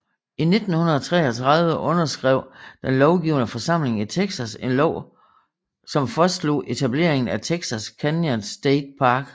I 1933 underskrev den lovgivende forsamling i Texas en lov som fastslog etableringen af Texas Canyons State Park